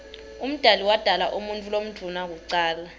umdali wodala umuutfu lomdouna kucala